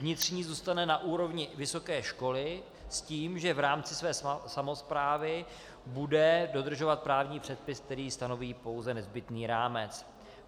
Vnitřní zůstane na úrovni vysoké školy, s tím že v rámci své samosprávy bude dodržovat právní předpis, který stanoví pouze nezbytný rámec.